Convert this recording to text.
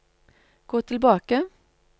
gå tilbake